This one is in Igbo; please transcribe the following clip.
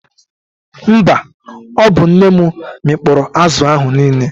Mba, ọ bụ nne m mịkpọrọ azụ ahụ niile.